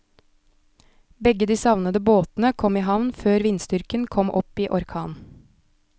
Begge de savnede båtene kom i havn før vindstyrken kom opp i orkan.